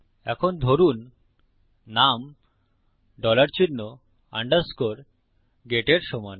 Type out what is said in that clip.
এখন ধরুন নাম ডলার চিহ্ন আন্ডারস্কোর গেট এর সমান